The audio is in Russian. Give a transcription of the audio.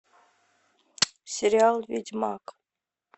сериал ведьмак